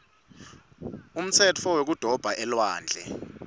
umtsetfo wekudoba elwandle